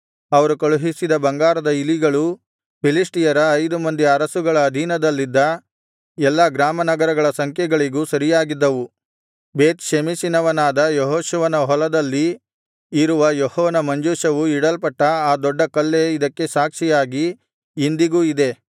ಅವರು ಕಳುಹಿಸಿದ ಬಂಗಾರದ ಇಲಿಗಳು ಫಿಲಿಷ್ಟಿಯರ ಐದು ಮಂದಿ ಅರಸುಗಳ ಅಧೀನದಲ್ಲಿದ್ದ ಎಲ್ಲಾ ಗ್ರಾಮ ನಗರಗಳ ಸಂಖ್ಯೆಗಳಿಗೂ ಸರಿಯಾಗಿದ್ದವು ಬೇತ್ ಷೆಮೆಷಿನವನಾದ ಯೆಹೋಶುವನ ಹೊಲದಲ್ಲಿ ಇರುವ ಯೆಹೋವನ ಮಂಜೂಷವೂ ಇಡಲ್ಪಟ್ಟ ಆ ದೊಡ್ಡ ಕಲ್ಲೇ ಇದಕ್ಕೆ ಸಾಕ್ಷಿಯಾಗಿ ಇಂದಿಗೂ ಇದೆ